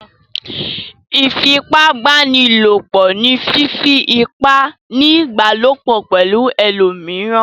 Ìfipábánilòpọ̀ ni fífí ipá ní ìbálòpọ̀ pẹ̀lú ẹlòmíràn.